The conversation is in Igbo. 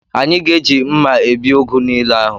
Anyị ga-eji mma ebi ugu niile ahụ.